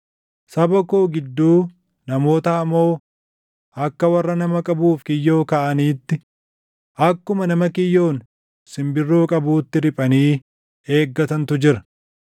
“Saba koo gidduu namoota hamoo akka warra nama qabuuf kiyyoo kaaʼaniitti, akkuma nama kiyyoon simbirroo qabuutti // riphanii eeggatantu jira.